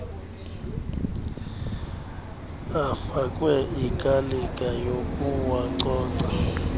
afakwe ikalika yokuwacoca